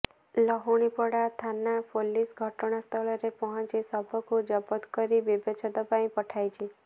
ଲହୁଣିପଡ଼ା ଥାନା ପୁଲିସ ଘଟଣାସ୍ଥଳରେ ପହଞ୍ଚି ଶବକୁ ଜବତ କରି ବ୍ୟବଚ୍ଛେଦ ପାଇଁ ପଠାଇଛି